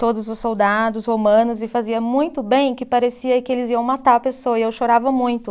todos os soldados romanos e fazia muito bem que parecia que eles iam matar a pessoa e eu chorava muito.